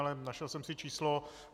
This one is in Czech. Ale našel jsem si číslo.